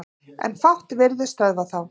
En fátt virðist stöðva þá.